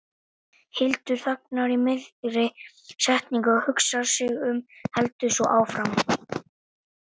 Hildur þagnar í miðri setningu og hugsar sig um, heldur svo áfram